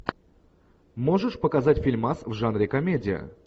можешь показать фильмас в жанре комедия